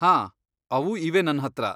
ಹಾಂ, ಅವು ಇವೆ ನನ್ಹತ್ರ.